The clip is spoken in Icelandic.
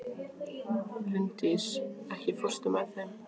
Linddís, ekki fórstu með þeim?